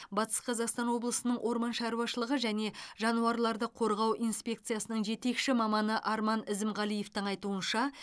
батыс қазақстан облысының орман шаруашылығы және жануарларды қорғау инспекциясының жетекші маманы арман ізімғалиевтің айтуынша